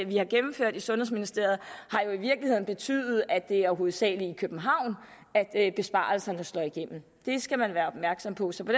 vi har gennemført i sundhedsministeriet jo i virkeligheden har betydet at det hovedsagelig er i københavn besparelserne slår igennem det skal man være opmærksom på så på